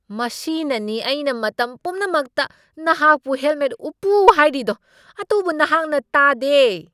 ꯃꯁꯤꯅꯅꯤ ꯑꯩꯅ ꯃꯇꯝ ꯄꯨꯝꯅꯃꯛꯇ ꯅꯍꯥꯛꯄꯨ ꯍꯦꯜꯃꯦꯠ ꯎꯞꯄꯨ ꯍꯥꯏꯔꯤꯗꯣ, ꯑꯗꯨꯕꯨ ꯅꯍꯥꯛꯅ ꯇꯥꯗꯦ꯫